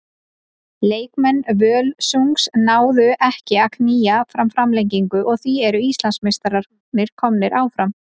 Leikmenn Völsungs náðu ekki að að knýja fram framlengingu og því eru Íslandsmeistararnir komnir áfram.